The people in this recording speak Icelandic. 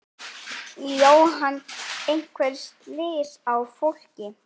Jóhann: Einhver slys á fólki?